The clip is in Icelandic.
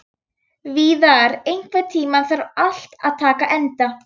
Víðar, einhvern tímann þarf allt að taka enda.